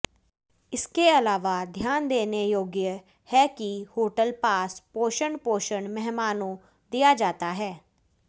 इसके अलावा ध्यान देने योग्य है कि होटल पास पोषण पोषण मेहमानों दिया जाता है